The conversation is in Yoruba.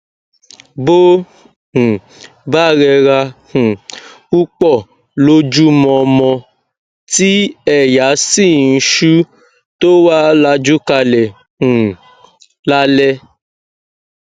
bó um bá rẹra um púpọ lọjúmọmọ tí èèyà sì ń sù tó wá lajú kalẹ um lálẹ